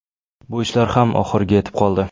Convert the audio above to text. Bu ishlar ham oxiriga yetib qoldi.